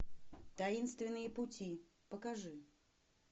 таинственные пути покажи